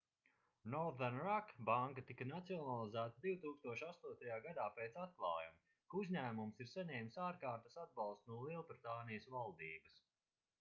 northern rock banka tika nacionalizēta 2008. gadā pēc atklājuma ka uzņēmums ir saņēmis ārkārtas atbalstu no lielbritānijas valdības